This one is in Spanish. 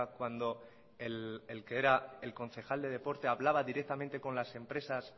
cuando el que era concejal de deporte hablaba directamente con las empresas